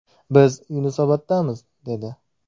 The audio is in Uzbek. Biz Yunusoboddamiz’, dedi.